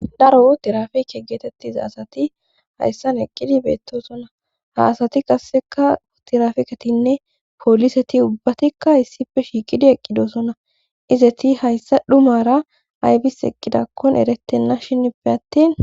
daro otirafeke geetettiza asati hayssan eqqidi beettosona ha asati qasseka otirafeketinne pooliseti ubbatikka issippe shiiqidi eqqidosona izeti hayssa dhumara aybis eqqidakkon erettenna shinippe attin